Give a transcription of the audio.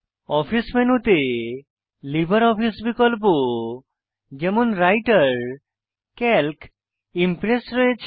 office মেনুতে LibreOffice বিকল্প যেমন রাইটের সিএএলসি ইমপ্রেস রয়েছে